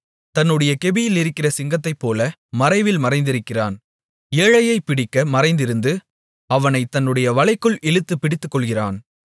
தன்னுடைய கெபியிலிருக்கிற சிங்கத்தைப்போல மறைவில் மறைந்திருக்கிறான் ஏழையைப் பிடிக்கப் மறைந்திருந்து அவனைத் தன்னுடைய வலைக்குள் இழுத்துப் பிடித்துக்கொள்ளுகிறான்